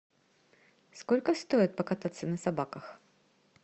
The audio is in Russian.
сколько стоит покататься на собаках